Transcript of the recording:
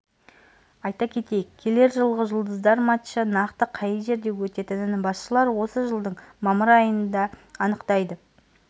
айта кетейік келер жылғы жұлдыздар матчы нақты қай жерде өтетінін басшылары осы жылдың мамыр айында анықтайтын